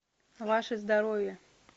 ваше здоровье